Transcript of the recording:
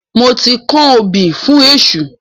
Mo ti kanbí fún èṣù